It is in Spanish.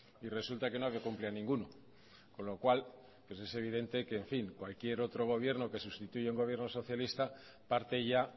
y resulta que no cumplían ninguno con lo cual pues es evidente que cualquier otro gobierno que sustituye a un gobierno socialista parte ya